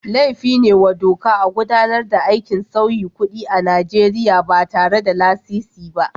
Laifin ne wa doka a gudanar da aikin sauyi kuɗi a Najeriya ba tare da lasisi ba.